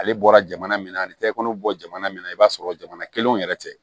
Ale bɔra jamana min na ani tɛgɛw bɔ jamana min na i b'a sɔrɔ jamana kelenw yɛrɛ tɛ